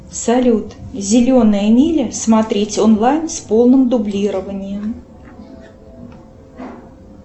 салют зеленая миля смотреть онлайн с полным дублированием